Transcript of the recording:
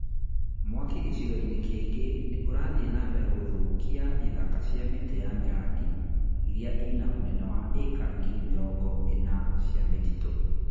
Mwaki gĩcigo kĩngĩ nĩ ũrathiĩ na mbere gũthũkia ithaka cia mĩtĩ ya mĩrangi iria ina unene wa ĩka ngiri mĩrongo ĩna cia mĩtitũ